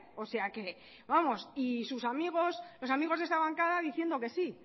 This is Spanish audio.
o sea que vamos y sus amigos los amigos de esta bancada diciendo que sí